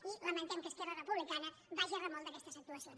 i lamentem que esquerra republicana vagi a remolc d’aquestes actuacions